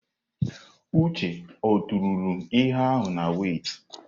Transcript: Uche ọ tụrụ ihe ahụ na wẹ́itị?